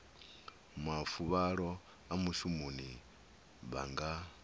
mafuvhalo a mushumoni vha nga